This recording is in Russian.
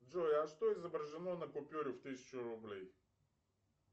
джой а что изображено на купюре в тысячу рублей